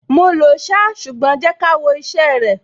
Mo lòó ṣá, ṣùgbọ́n jẹ́ ká wo iṣẹ́ ẹ rẹ̀.